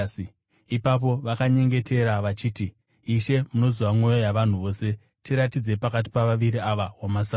Ipapo vakanyengetera vachiti, “Ishe, munoziva mwoyo yavanhu vose. Tiratidzei pakati pavaviri ava wamasarudza